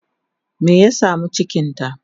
me ya samu cikinta?